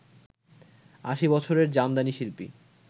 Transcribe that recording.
আশি বছরের জামদানি শিল্পী